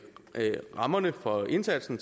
rammerne for indsatsen